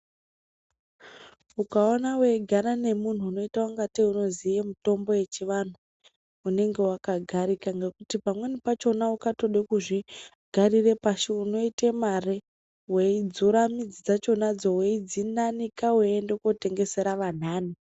Ukaona weigara nemuntu anoita ngatei anoziya mitombo yechivantu unenge wakagarika ngekuti pamweni pacho ukada kuzvigarira pasi unoita mari. Weidzura midzi dzakonadzo weianika weienda kundo itengesera antani.